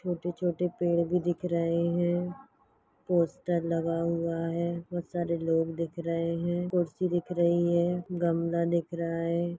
छोटे छोटे पेड़ भी दिख रहे है पोस्टर भी लगा हुवा है बहुत सारे लोग दिख रहे है कुर्सी दिख रही है गमला दिख रहा है।